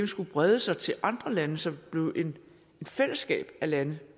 skulle brede sig til andre lande så det blev et fællesskab af lande